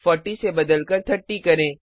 40 को बदलकर 30 करें